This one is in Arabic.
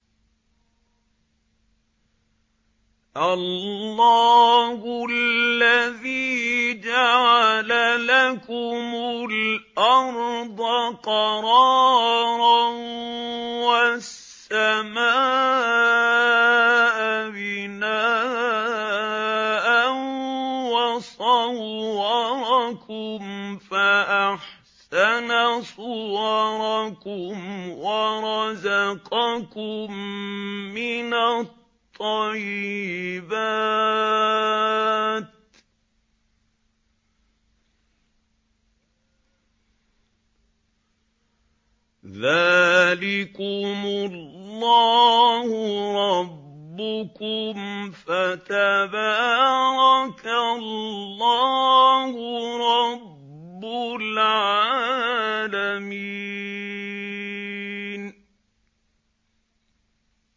اللَّهُ الَّذِي جَعَلَ لَكُمُ الْأَرْضَ قَرَارًا وَالسَّمَاءَ بِنَاءً وَصَوَّرَكُمْ فَأَحْسَنَ صُوَرَكُمْ وَرَزَقَكُم مِّنَ الطَّيِّبَاتِ ۚ ذَٰلِكُمُ اللَّهُ رَبُّكُمْ ۖ فَتَبَارَكَ اللَّهُ رَبُّ الْعَالَمِينَ